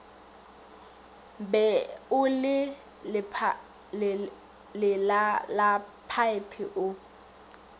be o le lelalaphaephe o